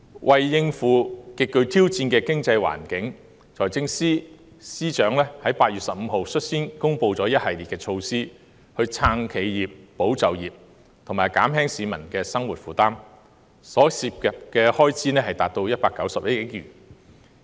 為應付極具挑戰的經濟環境，財政司司長在8月15日率先公布一系列措施，以撐企業、保就業及減輕市民的生活負擔，所涉開支達191億元。